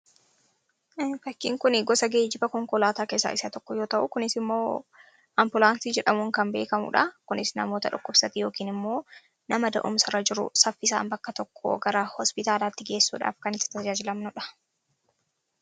Fakkiin kuni gosa geejiba konkolaataa keessaa isa tokko yoo ta'u kunis immoo Ampulaansii jedhamuun kan beekamudha. Kunis namoota dhukkubsatan yookiin immoo nama da'umsarra jiru saffisaan bakka tokkoo gara hospitaalaatti geessuudhaaf kan isa tajaajilanidha.